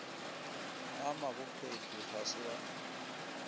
a mabophethi ga se a